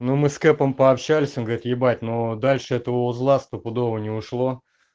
ну мы с кепом пообщались он говорит ебать но дальше этого узла стопудово не ушло